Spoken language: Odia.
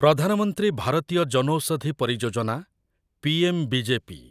ପ୍ରଧାନ ମନ୍ତ୍ରୀ ଭାରତୀୟ ଜନଔଷଧି ପରିଯୋଜନା' ପିଏମ୍‌ବିଜେପି